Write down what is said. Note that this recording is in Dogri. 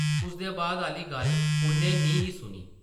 उसदे बाद आह्ली गल्ल उʼन्नै निं ही सुनी ।